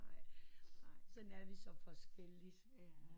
Sådan er vi så forskellige